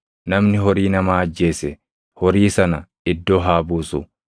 Namni horii namaa ajjeese horii sana iddoo haa buusu.